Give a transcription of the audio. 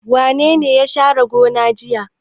Wane ne ya share gona jiya?